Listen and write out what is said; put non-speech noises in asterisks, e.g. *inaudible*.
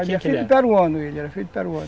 *unintelligible* peruano ele